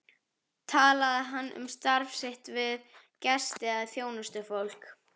Talaði hann um starf sitt við gesti eða þjónustufólk?